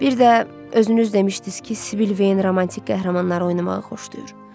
Bir də özünüz demişdiniz ki, Sibil Veyin romantik qəhrəmanları oynamağı xoşlayır.